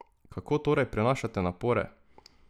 Kako torej prenašate napore?